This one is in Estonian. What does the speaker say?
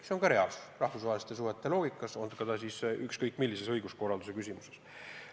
See on ka reaalsus rahvusvahelistes suhetes, olgu tegu ükskõik millise õiguskorralduse küsimusega.